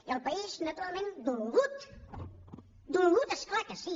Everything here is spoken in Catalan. i el país naturalment dolgut dolgut és clar que sí